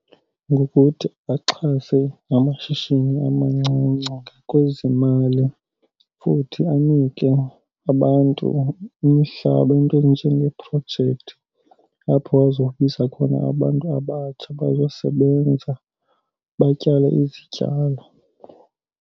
Ngokuthi axhase la mashishini amancinci kwezemali futhi anike abantu umhlaba, iinto ezinjengeeprojekthi, apho bazobiza khona abantu abatsha bazosebenza, batyale izityalo.